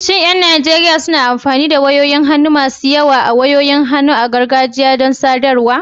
Shin ƴan Najeriya suna amfani da wayoyin hannu masu wayo ko wayoyin hannu na gargajiya don sadarwa?